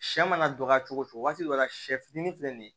Sɛ mana dɔgɔ cogo o cogo waati dɔ la sɛ fitinin filɛ nin ye